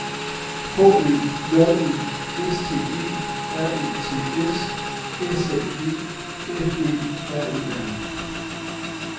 H Ø J E S T E R E T S S A G F Ø R E R